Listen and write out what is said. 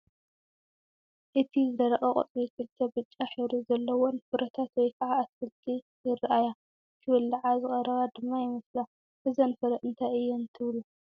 ኣብ ዝደረቐ ቆፅሊ ክልተ ብጫ ሕብሪ ዘለዎን ፍረታት ወይ ከዓ ኣትክልቲ ይራኣያ፡፡ ክብለዓ ዝቐረባ ድማ ይመስላ፡፡ እዘን ፍረ እንታይ እየን ትብሉ?